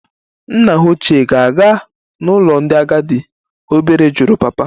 Nna hà ochie ga-aga n'ụlọ ndị agadi? Obere jụrụ papa